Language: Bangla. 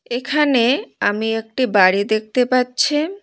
এখানে আমি একটি বাড়ি দেখতে পাচ্ছি।